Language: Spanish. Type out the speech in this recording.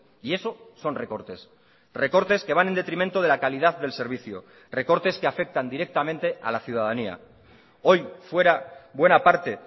y eso son recortes recortes que van en detrimento de la calidad del servicio recortes que afectan directamente a la ciudadanía hoy fuera buena parte